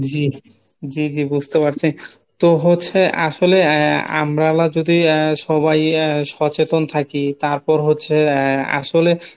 জি জি জি বুজতে পারছি তো হচ্ছে আসলে আমরা যদি সবাই সচেতন থাকি তারপর হচ্ছে আসলে